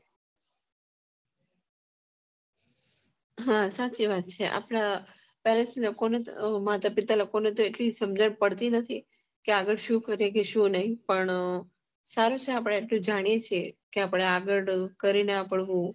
હા સાચી વાત છે એટલી સમજણ પડતી નથી કે આગળ સુ કરીએ કે નહિ પણ સારું છે આપણે એટલે જાણીએ સીએ કે આપડે આગળ કરીને